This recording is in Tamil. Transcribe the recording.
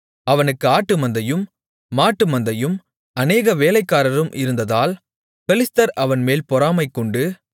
அவனுக்கு ஆட்டு மந்தையும் மாட்டு மந்தையும் அநேக வேலைக்காரரும் இருந்ததால் பெலிஸ்தர் அவன்மேல் பொறாமைகொண்டு